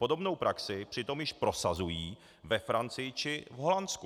Podobnou praxi přitom již prosazují ve Francii či v Holandsku.